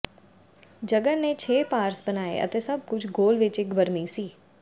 ਜਗਰ ਨੇ ਛੇ ਪਾਰਸ ਬਣਾਏ ਅਤੇ ਸਭ ਕੁਝ ਗੋਲ ਵਿੱਚ ਇੱਕ ਬਰਮੀ ਸੀ